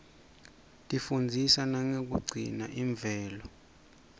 tifundzisa nangekugcina imvelo